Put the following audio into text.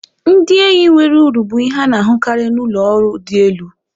Ndị enyi nwere uru bụ ihe a na-ahụkarị na ụlọ ọrụ dị elu.